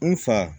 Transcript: N fa